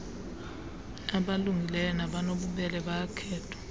abalungileyo nabanobubele bayakhethwa